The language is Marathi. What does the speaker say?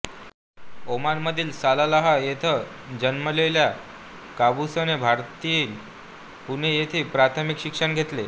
ओमानमधील सलालाह येथे जन्मलेल्या काबूसने भारतातील पुणे येथे प्राथमिक शिक्षण घेतले